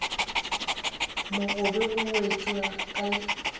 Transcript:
mo gobe e wetšwa ke